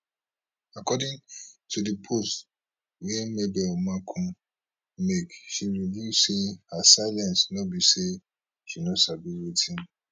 according to di post wey mabel makun make she reveal say her silence no be say she no sabi wetin